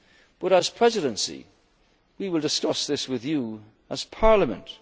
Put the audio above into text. European Council. But as Presidency, we will discuss this with